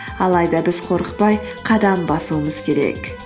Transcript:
алайда біз қорықпай қадам басуымыз керек